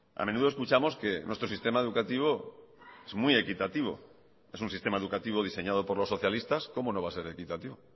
a menudo escuchamos que nuestro sistema educativo es muy equitativo es un sistema educativo diseñado por los socialistas cómo no va a ser equitativo